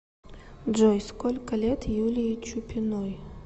джой сколько лет юлии чупиной